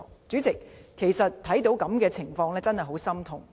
主席，看到這樣的情況，我真的很心痛。